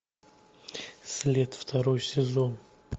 след второй сезон